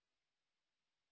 किमभवत् इति पश्यामः